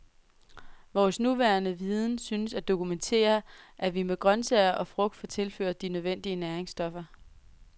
Vores nuværende viden synes at dokumentere, at vi med grøntsager og frugt får tilført de nødvendige næringsstoffer.